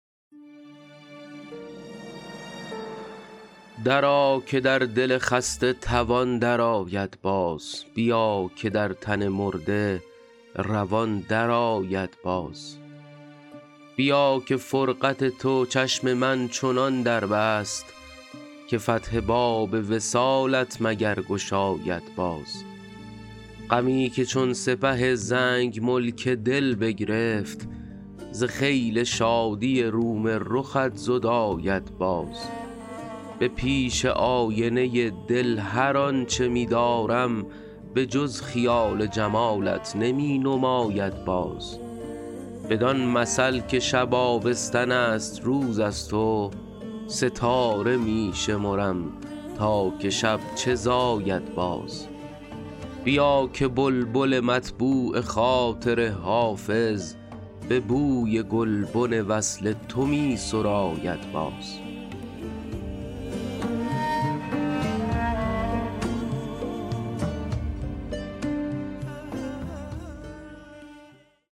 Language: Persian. درآ که در دل خسته توان درآید باز بیا که در تن مرده روان درآید باز بیا که فرقت تو چشم من چنان در بست که فتح باب وصالت مگر گشاید باز غمی که چون سپه زنگ ملک دل بگرفت ز خیل شادی روم رخت زداید باز به پیش آینه دل هر آن چه می دارم به جز خیال جمالت نمی نماید باز بدان مثل که شب آبستن است روز از تو ستاره می شمرم تا که شب چه زاید باز بیا که بلبل مطبوع خاطر حافظ به بوی گلبن وصل تو می سراید باز